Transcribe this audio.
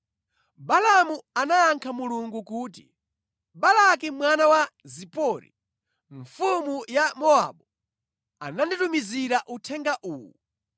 Balaamu anayankha Mulungu kuti, “Balaki mwana wa Zipori, mfumu ya Mowabu, ananditumizira uthenga uwu: